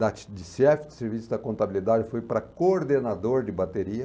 De chefe de serviço da contabilidade eu fui para coordenador de bateria.